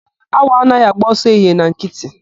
Awọ anaghị agba ọsọ ehihie na nkịtị.